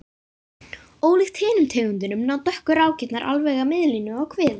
Ólíkt hinum tegundunum ná dökku rákirnar alveg að miðlínu á kviði.